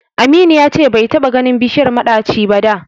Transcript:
Aminu ya ce bai taɓa ganin bishiyar maɗaci ba da.